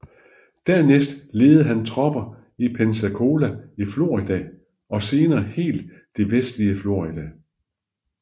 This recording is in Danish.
Dernæst ledede han tropper i Pensacola i Florida og senere hele det vestlige Florida